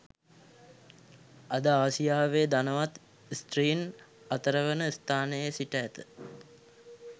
අද ආසියාවේ ධනවත් ස්ත්‍රීන් අතරවන ස්ථානයේ සිට ඇත